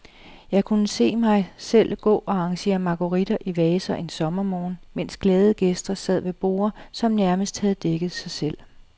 Jeg kunne se mig selv gå og arrangere marguritter i vaser en sommermorgen, mens glade gæster sad ved borde, som nærmest havde dækket sig selv.